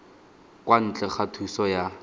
kwa ntle ga thuso ya